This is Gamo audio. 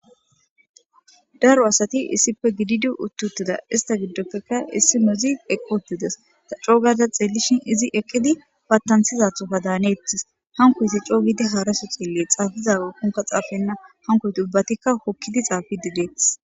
Daro asati issipe gididi uti utida isita gidope issinozi eqi utides ta cogada xelishin izi eqidi fatanisizathika danes hanikozi cogidi haraso xeles xafizathika danena hanikoti hokidi xafidi de'etes